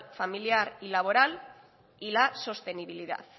familiar y laboral y la sostenibilidad